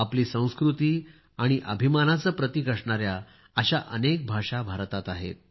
आपली संस्कृती आणि अभिमानाचे प्रतिक असणाऱ्या अशा अनेक भाषा भारतात आहेत